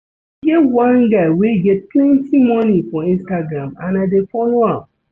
E get one guy wey get plenty money for Instagram and I dey follow am